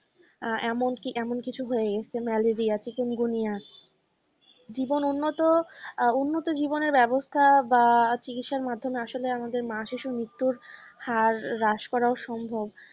আহ এমন কি এমন কিছু হয়ে গেছে malaria chickenguniea জীবন উন্নত আহ উন্নত জীবনের ব্যবস্থা বা চিকিৎসার মাধ্যমে আসলে আমাদের মা শিশুর মৃত্যুর হার রাস করাও সম্ভব,